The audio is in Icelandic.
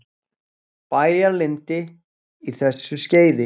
Bæjaralandi á þessu skeiði.